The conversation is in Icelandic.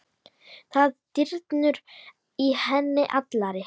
Það drynur í henni allri.